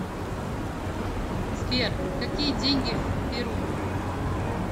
сбер какие деньги в перу